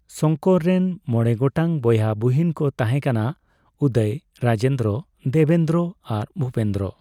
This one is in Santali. ᱥᱚᱝᱠᱚᱨ ᱨᱮᱱ ᱢᱚᱬᱮ ᱜᱚᱴᱟᱝ ᱵᱚᱭᱦᱟ ᱵᱩᱦᱤᱱ ᱠᱚ ᱛᱟᱦᱮᱸᱠᱟᱱᱟ, ᱩᱫᱚᱭ, ᱨᱟᱡᱮᱱᱫᱨᱚ, ᱫᱮᱵᱮᱱᱫᱨᱚ ᱟᱨ ᱵᱷᱩᱯᱮᱱᱫᱨᱚ ᱾